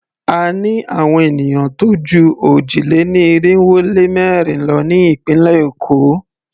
A ní àwon ènìyàn tó jú òjì-lé-ní-irinwó-lé-mẹ́rin lọ ní ìpínlẹ̀ Èkó.